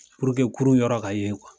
kurun yɔrɔ ka yen